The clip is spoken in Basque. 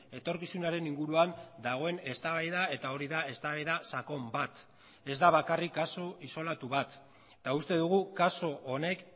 etorkizunaren inguruan dagoen eztabaida eta hori da eztabaida sakon bat ez da bakarrik kasu isolatu bat eta uste dugu kasu honek